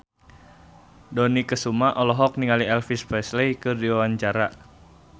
Dony Kesuma olohok ningali Elvis Presley keur diwawancara